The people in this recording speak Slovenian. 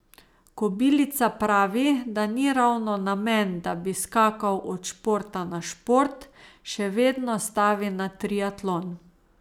Kobilica pravi, da ni ravno namen, da bi skakal od športa na šport, še vedno stavi na triatlon.